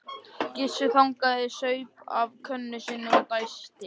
Gissur þagnaði, saup af könnunni og dæsti.